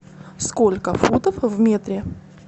сколько футов в метре